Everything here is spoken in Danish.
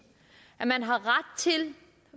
at man har ret til